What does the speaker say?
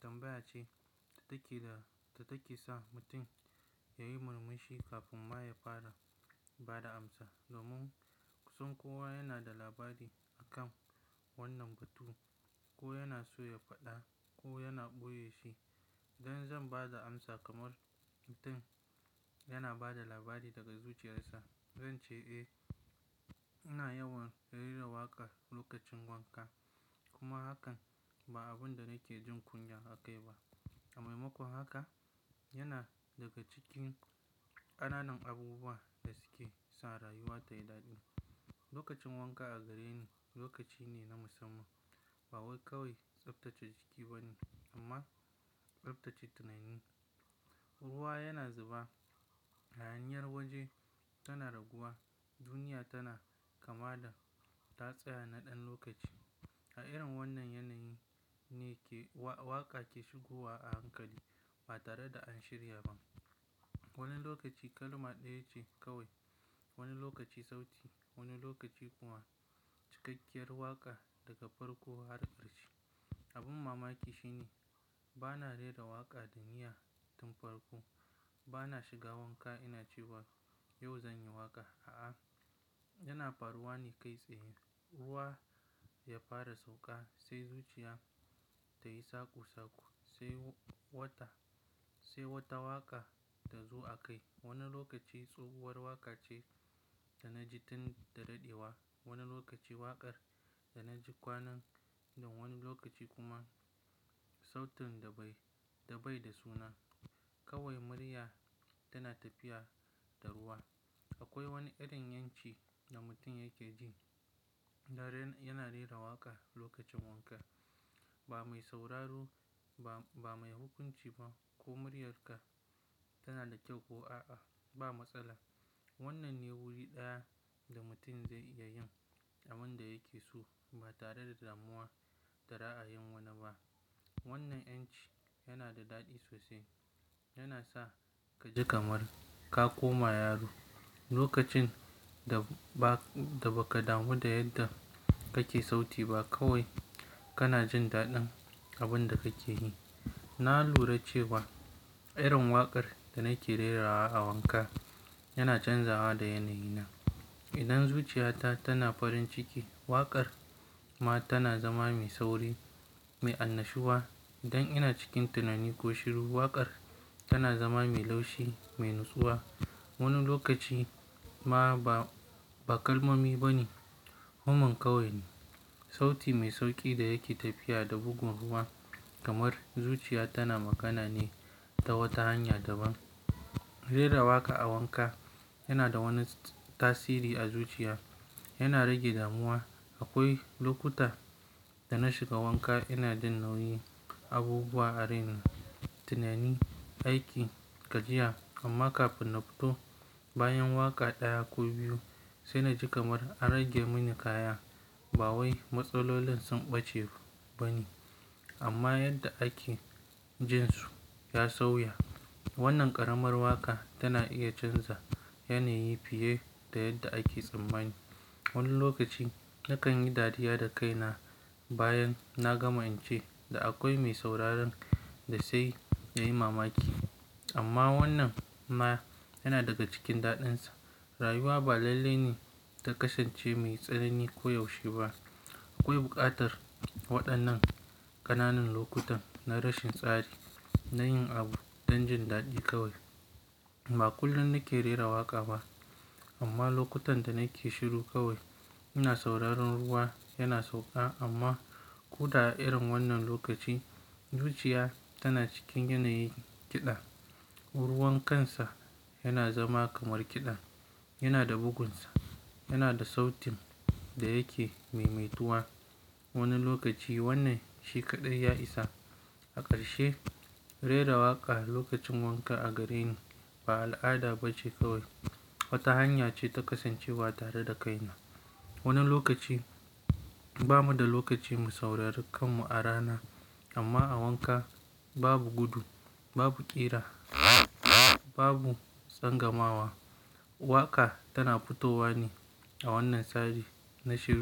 tambaya ce da take, da da take sa mutum yayi murmushi kafin ma ya fara ba da amsa. Domin kusan kowa yana da labari akan wannan batu ko yana so ya faɗa ko yana ɓoye shi. Dan zan ba da amsa kamar mutum yana ba da labari daga zuciyarsa. Zan ce eh, ina yawan rera waƙa lokacin wanka. Kuma hakan ba abun da nake jin kunya akai ba. A maimakon haka, yana daga cikin ƙananan abubuwa da suke sa rayuwa tai daɗi. Lokacin wanka a gare ni lokaci ne na musamman. Ba wai kawai tsaftace jiki ba ne amma tsaftace tunani. Ruwa yana zuba, hayaniyar waje tana raguwa. Duniya tana kama da ta tsaya na ɗan lokaci. A irin wannan yanayi ne ke wa-waƙa ke shigowa a hankali ba tare da an shirya ba. Wani lokaci kalma ɗaya ce kawai, wani lokaci sauti, wani lokaci kuma cikakkiyar waƙa daga farko har ƙarshe. Abin mamaki shi ne ba na rera waƙa da niyyar tun farko. Ba na shiga wanka ina cewa yau zan yi waƙa. A'a, yana fa ruwa ne kai tsaye, ruwa ya fara sauƙa sai zuciya tayi saku saku sai wata, sai wata waƙa ta zo a kai. Wani lokaci tsohuwar waƙa ce da na ji tun da daɗewa, wani lokaci waƙar da na ji kwanan wani lokaci kuma sautin da bai, da bai da suna. Kawai murya tana tafiya da ruwa. Akwai wani irin yanci da mutum yake jin da ren, yana rera waƙa lokacin wanka. Ba mai sauraro ba, ba mai hukunci ba ko muryarka tana da kyau ko a'a. Ba matsala. Wannan ne wuri ɗaya da mutum zai iya yin abin da yake so ba tare da damuwa da ra'ayin wani ba. Wannan 'yanci yana da daɗi sosai. Yana sa ka ji kamar ka koma yaro lokacin da ba, da ba ka damu da yadda kake sauti ba. Kawai kana jin daɗin abin da kake yi. Na lura cewa irin waƙar da nake rerawa a wanka yana canzawa da yanayi na. Idan zuciyata tana farin ciki, waƙar ma tana zama mai sauri, mai annashuwa. Idan ina cikin tunani ko shiru, waƙar tana zama mai laushi, mai nutsuwa. Wani lokaci ma ba, ba kalmomi ba ne. Humman kawai ne, sauti mai sauƙi da yake tafiya da bugun ruwa kamar zuciya tana magana ne ta wata hanya daban. Rera waƙa a wanka yana da wani tasiri a zuciya. Yana rage damuwa. Akwai lokuta da na shiga wanka ina jin nauyin abubuwa a rena tunani, aiki, gajiya. Amma kafin na fito bayan waƙa ɗaya ko biyu sai na ji kamar an rage mini kaya. Ba wai matsalolin sun ɓace ba ne amma yadda ake jin su ya sauya. Wannan ƙaramar waƙa tana iya canza yanayi fiye da yadda ake tsammani. Wani lokaci nakan yi dariya da kaina bayan na gama in ce da akwai mai sauraron da sai ya yi mamaki. Amma wannan ma yana daga cikin daɗinsa. Rayuwa ba lalle ne ta kasance mai tsanani ko yaushe ba. Akwai buƙatar waɗannan ƙananan lokutan na rashin tsari na yin abu don jin daɗi kawai. Ba kullum nake rera waƙa ba amma lokutan da nake shiru kawai ina sauraron ruwa yana sauƙa. Amma ko da a irin wannan lokaci zuciya tana cikin yanayin kiɗa. Ruwan kansa yana zama kamar kiɗa. Yana da bugunsa, yana da sautin da yake maimaituwa. Wani lokaci wannan shi kaɗai ya isa. A ƙarshe, rera waƙa lokacin wanka a gare ni ba al'ada ba ce kawai, wata hanya ce ta ƙasancewa tare da kaina. Wani lokaci bamu da lokaci mu saurari kanmu a rana amma a wanka babu gudu, babu ƙira, babu sangamawa. Waƙa tana fitowa ne a wannan tsari na shi.